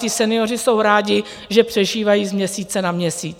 Ti senioři jsou rádi, že přežívají z měsíce na měsíc.